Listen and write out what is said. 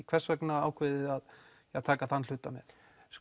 hvers vegna ákveðið þið að taka þann hluta með